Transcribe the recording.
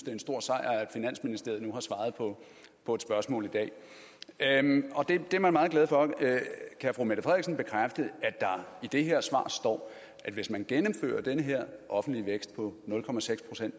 er en stor sejr at finansministeriet nu har svaret på på et spørgsmål i dag det er man meget glad for kan fru mette frederiksen bekræfte at der i det her svar står at hvis man gennemfører den her offentlige vækst på nul procent